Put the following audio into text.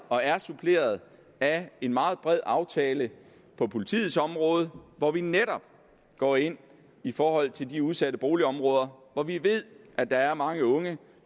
og er suppleret af en meget bred aftale på politiets område hvor vi netop går ind i forhold til de udsatte boligområder hvor vi ved at der er mange unge